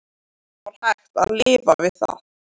Það var hægt að lifa við það.